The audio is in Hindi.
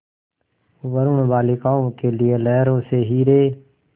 वरूण बालिकाओं के लिए लहरों से हीरे